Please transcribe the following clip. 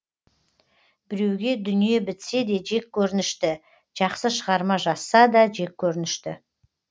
біреуге дүние бітсе де жеккөрінінішті жақсы шығарма жазса да жеккөрінішті